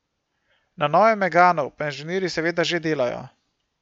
Na novem meganu pa inženirji seveda že delajo.